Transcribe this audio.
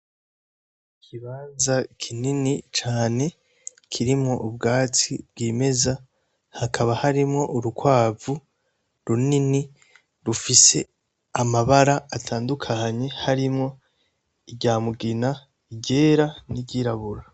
Ikibanza kinini cane, kirimwo ubwatsi bwimeza. Hakaba harimwo urukwavu runini rufise amabara atandukanye harimwo irya mugina, iryera n'iruyirabura.